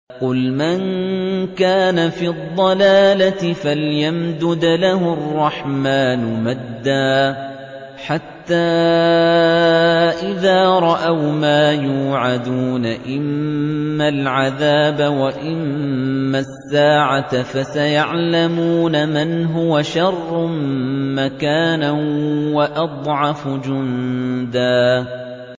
قُلْ مَن كَانَ فِي الضَّلَالَةِ فَلْيَمْدُدْ لَهُ الرَّحْمَٰنُ مَدًّا ۚ حَتَّىٰ إِذَا رَأَوْا مَا يُوعَدُونَ إِمَّا الْعَذَابَ وَإِمَّا السَّاعَةَ فَسَيَعْلَمُونَ مَنْ هُوَ شَرٌّ مَّكَانًا وَأَضْعَفُ جُندًا